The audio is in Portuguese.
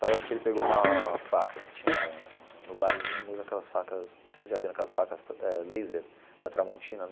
Parece que ele pegou uma faca que tinha na no barzinho mesmo aquelas facas, não sei se vocês já viram aquelas facas eh laser da Tramontina.